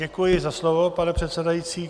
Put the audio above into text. Děkuji za slovo, pane předsedající.